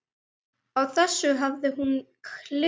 Á þessu hafði hún klifað.